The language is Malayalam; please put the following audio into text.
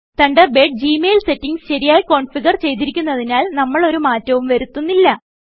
തണ്ടർബേഡ് ജി മെയിൽ സെറ്റിംഗ്സ് ശരിയായി കോന്ഫിഗർ ചെയ്തിരിക്കുന്നതിനാൽ നമ്മൾ ഒരു മാറ്റവും വരുത്തുന്നില്ല